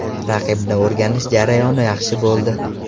Raqibni o‘rganish jarayoni yaxshi bo‘ldi.